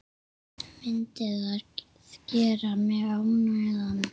Myndi það gera mig ánægðan?